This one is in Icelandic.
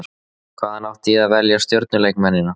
Hvaðan átti ég að velja stjörnuleikmennina?